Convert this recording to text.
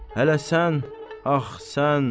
Hələ sən, ax sən.